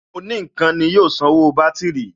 Òní ǹkan ni yóò sanwó bátìrì